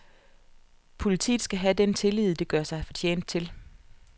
Politiet skal have den tillid, det gør sig fortjent til.